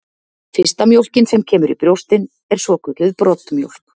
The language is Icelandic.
Fyrsta mjólkin sem kemur í brjóstin er svokölluð broddmjólk.